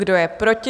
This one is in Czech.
Kdo je proti?